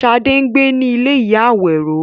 Ṣadé ń gbé ní ilé ìyá Àwẹró.